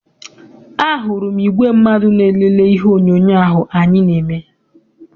A hụrụ m igwe mmadụ na-elele ihe onyoonyo ahụ anyị na-eme.